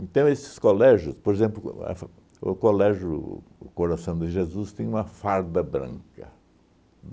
Então, esses colégios... Por exemplo, a f o colégio o Coração de Jesus tem uma farda branca.